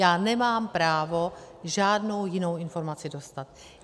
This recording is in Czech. Já nemám právo žádnou jinou informaci dostat.